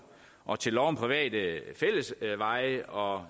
og til lov om private fællesveje og